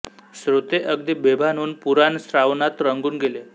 श्रोते अगदी बेभान होऊन पुराण श्रवणात रंगून गेले